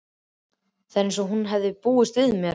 Það var eins og hún hefði búist við mér.